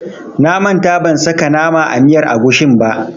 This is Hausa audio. Na manta ban saka nama a miyar agushin ba.